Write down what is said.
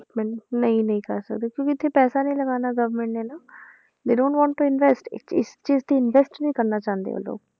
development ਨਹੀਂ ਨਹੀਂ ਕਰ ਸਕਦੇ ਕਿਉਂਕਿ ਇੱਥੇ ਪੈਸਾ ਨੀ ਲਗਾਉਣਾ government ਨੇ ਨਾ they don't want invest ਇਸ ਚੀਜ਼ ਤੇ invest ਨੀ ਕਰਨਾ ਚਾਹੁੰਦੇ ਉਹ ਲੋਕ